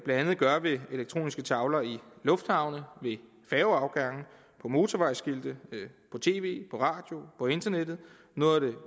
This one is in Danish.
andet gøre ved elektroniske tavler i lufthavne ved færgeafgange på motorvejsskilte i tv og radio på internettet noget af det